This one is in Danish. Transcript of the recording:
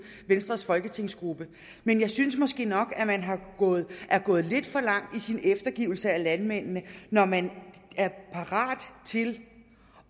venstres folketingsgruppe men jeg synes måske nok at man er gået lidt for langt i sin eftergivenhed landmændene når man er parat til